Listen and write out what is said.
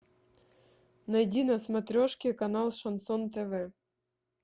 найди на смотрешке канал шансон тв